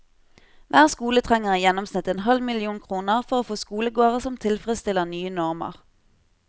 Hver skole trenger i gjennomsnitt en halv million kroner for å få skolegårder som tilfredsstiller nye normer.